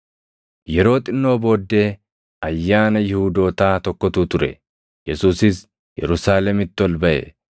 Yeroo xinnoo booddee ayyaana Yihuudootaa tokkotu ture; Yesuusis Yerusaalemitti ol baʼe.